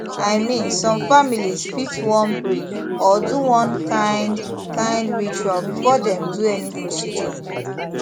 i mean some families fit wan pray or do one kind kind ritual before dem do any procedure